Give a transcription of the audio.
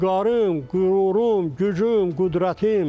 Vüqarım, qürurum, gücüm, qüdrətim.